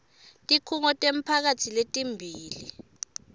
tikhungo temphakatsi letimbili